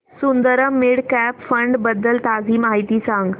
Sundaram mid cap fund बद्दल ताजी माहिती सांग